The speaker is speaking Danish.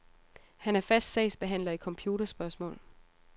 Han er fast sagsbehandler i computerspørgsmål.